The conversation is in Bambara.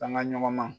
An ka ɲɔgɔn ma